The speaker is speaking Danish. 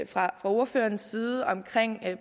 fra ordførerens side omkring